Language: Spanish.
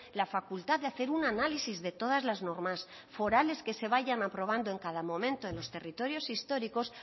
la facultad de hacer un análisis de todas las normas forales que se vayan aprobando en cada momento en los territorios históricos